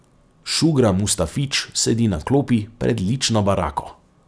Šugra Mustafić sedi na klopi pred lično barako.